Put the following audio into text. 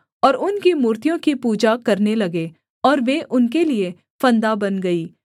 और उनकी मूर्तियों की पूजा करने लगे और वे उनके लिये फंदा बन गई